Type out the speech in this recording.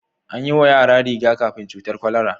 An yiwa yara riga-kafin cutar kwalara.